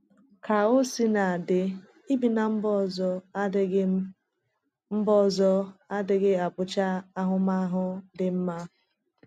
Ka o sina dị, ibi ná mba ọzọ adịghị mba ọzọ adịghị abụcha ahụmahụ dị mmā.